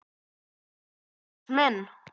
Jesús minn.